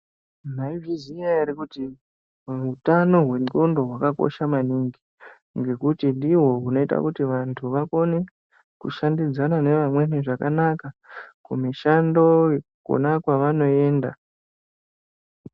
Mwaizviziya ere kuti utano hwendxondo hwakakosha maningi ngekuti ndihwo unoita kuti vandu vakone kushandidzana nevamweni zvakanaka kumishandoyo kona kwavanoenda.